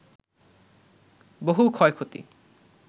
বহু ক্ষয়ক্ষতি